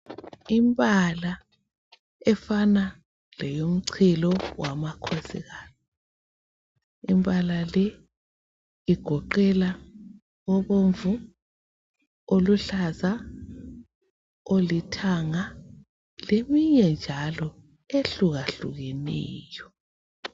Imbala efana leyomchilo wamakhosikazi. Imbala le igoqela obomvu, oluhlaza olithanga leminye njalo ehluka hlukeneyo.